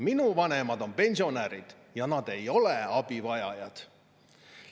Minu vanemad on pensionärid, aga nemad ei ole abivajajad.